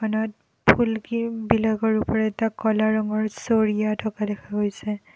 দোকানত ফুলকি বিলাকৰ ওপৰত এটা ক'লা ৰঙৰ চৰিয়া থকা দেখা গৈছে।